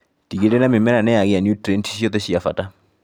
Tigĩrĩra mĩmera nĩyagĩa nutrienti ciothe cia bata.